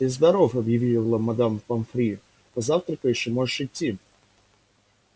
ты здоров объявила мадам помфри позавтракаешь и можешь идти